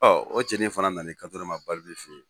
Ɔ o cɛnin fana nan'i kanto ne ma fɛ yen